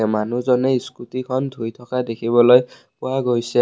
মানুহজনে স্কুটিখন ধুই থকা দেখিবলৈ পোৱা গৈছে।